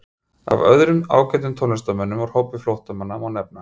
Af öðrum ágætum tónlistarmönnum úr hópi flóttamanna má nefna